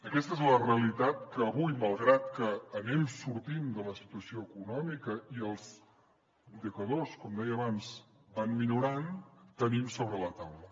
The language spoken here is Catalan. aquesta és la realitat que avui malgrat que anem sortim de la situació econòmica i els indicadors com deia abans van millorant tenim sobre la taula